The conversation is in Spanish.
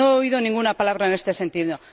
No he oído ninguna palabra en este sentido.